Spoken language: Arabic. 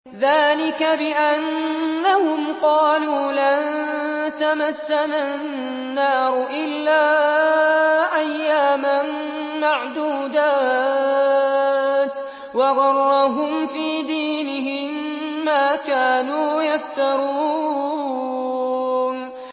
ذَٰلِكَ بِأَنَّهُمْ قَالُوا لَن تَمَسَّنَا النَّارُ إِلَّا أَيَّامًا مَّعْدُودَاتٍ ۖ وَغَرَّهُمْ فِي دِينِهِم مَّا كَانُوا يَفْتَرُونَ